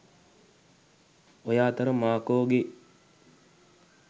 ඔය අතර මාර්කෝ ගේ